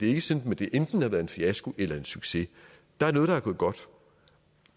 er sådan at det enten har været en fiasko eller en succes der er noget der er gået godt og